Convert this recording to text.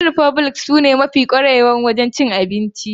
Chicken republic sune mafi kwarewa a cikin kasuwancin abincin azumi.